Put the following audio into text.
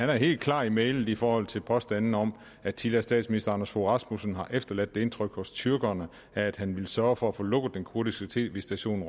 var helt klar i mælet i forhold til påstandene om at tidligere statsminister anders fogh rasmussen havde efterladt det indtryk hos tyrkerne at han ville sørge for at få lukket den kurdiske tv station